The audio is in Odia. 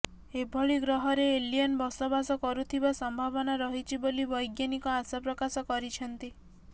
ଏଭଳି ଗ୍ରହରେ ଏଲିୟନ ବସବାସ କରୁଥିବା ସମ୍ଭାବନା ରହିଛି ବୋଲି ବୈଜ୍ଞାନିକ ଆଶା ପ୍ରକାଶ କରିଛନ୍ତି